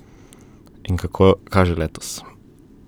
In kako kaže letos?